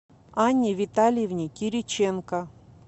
анне витальевне кириченко